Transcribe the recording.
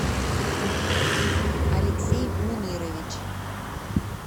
алексей мунирович